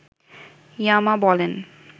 ইয়ামা বলেন